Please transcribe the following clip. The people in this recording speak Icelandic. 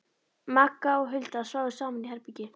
Magga og Hulda sváfu saman í herbergi.